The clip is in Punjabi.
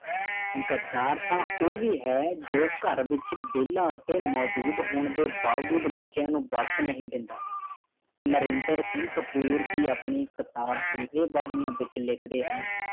ਗਦਾਰ ਤਾਂ ਉਹ ਵੀ ਹੈ ਜਿਹੜਾ ਘਰ ਵਿਚ ਵੇਲਾ ਅਤੇ ਮੌਜੂਦ ਹੋਣ ਦੇ ਬਾਵਜੂਦ ਬੱਚਿਆਂ ਨੂੰ ਵਕਤ ਨਹੀਂ ਦਿੰਦਾ ਨਰਿੰਦਰ ਸਿੰਘ ਕਪੂਰ ਦੀ ਆਪਣੀ ਕਿਤਾਬ ਬੂਹੇ ਬਾਰੀਆਂ ਦੇ ਵਿੱਚ ਲਿਖਦੇ ਹਨ